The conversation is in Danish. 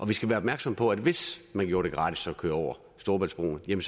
vi skal være opmærksom på at hvis man gjorde det gratis at køre over storebæltsbroen ville